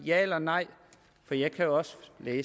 ja eller et nej for jeg kan også